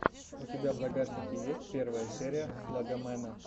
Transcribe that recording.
у тебя в загашнике есть первая серия слогомэна